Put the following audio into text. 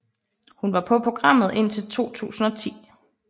Hun var på programmet indtil 2010